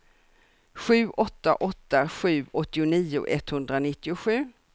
sju åtta åtta sju åttionio etthundranittiosju